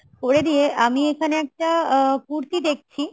করে দিয়ে আমি এইখানে একটা কুর্তি দেখছি